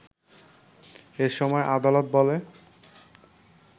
এ সময় আদালত বলে